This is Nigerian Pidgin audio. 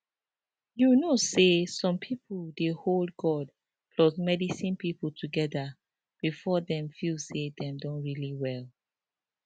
you know say some people dey hold god plus medicine people together before dem feel say dem don really well